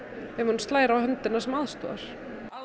slær á höndina sem aðstoðar